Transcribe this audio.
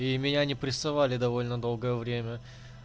и меня не прессовали довольно долгое время